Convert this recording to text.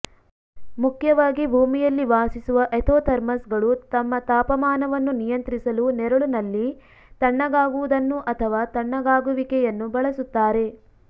ಮುಖ್ಯವಾಗಿ ಭೂಮಿಯಲ್ಲಿ ವಾಸಿಸುವ ಎಥೋಥರ್ಮ್ಸ್ಗಳು ತಮ್ಮ ತಾಪಮಾನವನ್ನು ನಿಯಂತ್ರಿಸಲು ನೆರಳುನಲ್ಲಿ ತಣ್ಣಗಾಗುವುದನ್ನು ಅಥವಾ ತಣ್ಣಗಾಗುವಿಕೆಯನ್ನು ಬಳಸುತ್ತಾರೆ